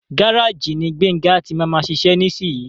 Gáràjì ní Gbénga tí máa má ṣiṣe nísiyi.